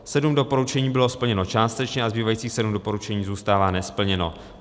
Sedm doporučení bylo splněno částečně a zbývajících sedm doporučení zůstává nesplněno.